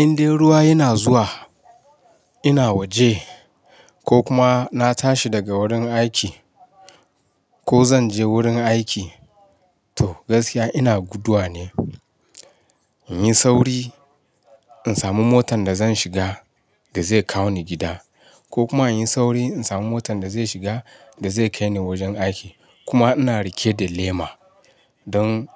Indai ruwa yana zuwa, ina waje ko kuma na tashi daga wurin aiki. Ko zan je wurin aiki, to gaskiya ina guduwa ne. In yi sauri in samu motan da zan shiga da zai kawo ni gida. Ko kuma in yi sauri in samu motan da zai shiga da zai kai ni wajen aiki. Kuma ina rike da lema don